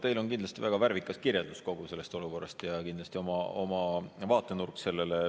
Teil on kindlasti väga värvikas kirjeldus kogu sellest olukorrast ja kindlasti oma vaatenurk sellele.